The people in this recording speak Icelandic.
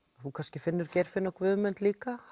þú kannski finnur Geirfinn og Guðmund líka